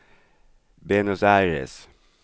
Buenos Aires